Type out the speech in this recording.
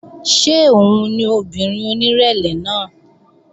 Ṣé òun ni obìnrin onírẹ̀lẹ̀ náà?